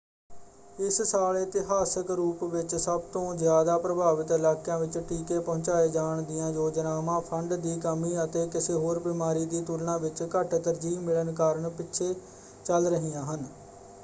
ਇਸ ਸਾਲ ਇਤਿਹਾਸਿਕ ਰੂਪ ਵਿੱਚ ਸਭ ਤੋਂ ਜ਼ਿਆਦਾ ਪ੍ਰਭਾਵਿਤ ਇਲਾਕਿਆਂ ਵਿੱਚ ਟੀਕੇ ਪਹੁੰਚਾਏ ਜਾਣ ਦੀਆਂ ਯੋਜਨਾਵਾਂ ਫੰਡ ਦੀ ਕਮੀ ਅਤੇ ਕਿਸੇ ਹੋਰ ਬਿਮਾਰੀ ਦੀ ਤੁਲਨਾ ਵਿੱਚ ਘੱਟ ਤਰਜੀਹ ਮਿਲਣ ਕਾਰਨ ਪਿੱਛੇ ਚੱਲ ਰਹੀਆਂ ਹਨ।